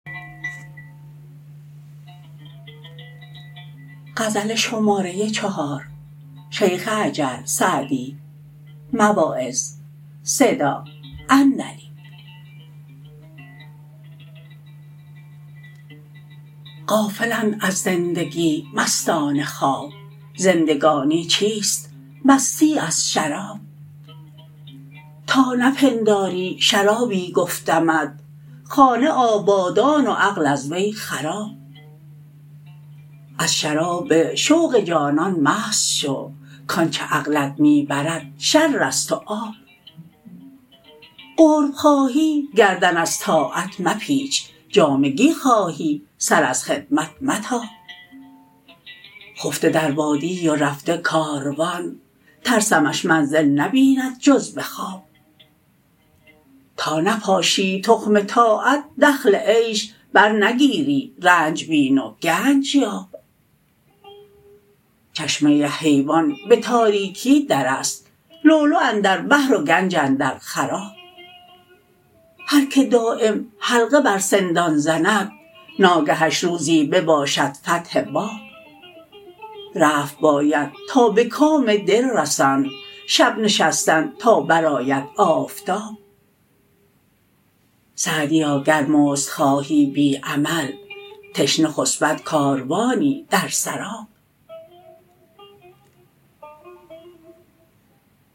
غافلند از زندگی مستان خواب زندگانی چیست مستی از شراب تا نپنداری شرابی گفتمت خانه آبادان و عقل از وی خراب از شراب شوق جانان مست شو کآنچه عقلت می برد شر است و آب قرب خواهی گردن از طاعت مپیچ جامگی خواهی سر از خدمت متاب خفته در وادی و رفته کاروان ترسمش منزل نبیند جز به خواب تا نپاشی تخم طاعت دخل عیش برنگیری رنج بین و گنج یاب چشمه حیوان به تاریکی در است لؤلؤ اندر بحر و گنج اندر خراب هر که دایم حلقه بر سندان زند ناگهش روزی بباشد فتح باب رفت باید تا به کام دل رسند شب نشستن تا برآید آفتاب سعدیا گر مزد خواهی بی عمل تشنه خسبد کاروانی در سراب